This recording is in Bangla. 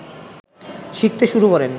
শিখতে শুরু করেন